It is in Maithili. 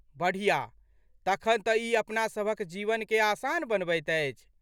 बढ़िया, तखन तँ ई अपनासभक जीवनकेँ आसान बनबैत अछि।